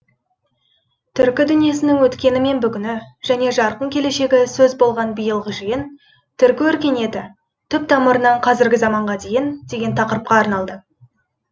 түркі дүниесінің өткені мен бүгіні жане жарқын келешегі сөз болған биылғы жиын түркі өркениеті түп тамырынан қазіргі заманға дейін деген тақырыпқа арналды